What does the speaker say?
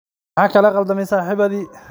Maxa kalaqaldamiyey saxibadi.